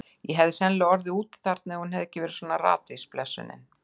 Ég hefði sennilega orðið úti þarna ef hún hefði ekki verið svona ratvís, blessunin.